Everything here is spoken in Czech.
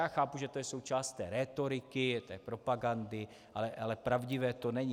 Já chápu, že to je součást té rétoriky, té propagandy, ale pravdivé to není.